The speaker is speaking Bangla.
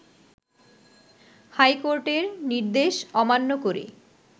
হাইকোর্টের নির্দেশ অমান্য করে